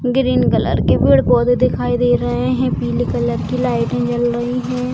Green colour के पेड़-पौधे दिखाई दे रहे हैं पीले कलर की लाइटें जल रही है।